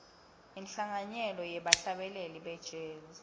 inhlanganyelo yebahlabeleli be jazz